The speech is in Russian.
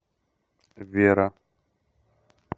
вера